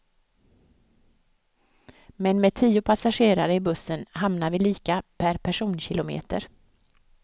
Men med tio passagerare i bussen hamnar vi lika per personkilometer.